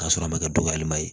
K'a sɔrɔ a ma kɛ duwalenba ye